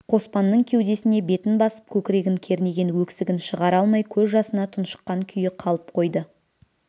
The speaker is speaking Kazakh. қоспанның кеудесіне бетін басып көкірегін кернеген өксігін шығара алмай көз жасына тұншыққан күйі қалып қойды